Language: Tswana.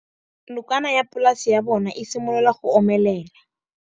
Nokana ya polase ya bona, e simolola go omelela.